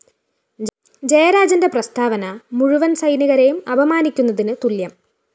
ജയരാജന്റെ പ്രസ്താവന മുഴുവന്‍ സൈനികരെയും അപമാനിക്കുന്നതിന് തുല്യം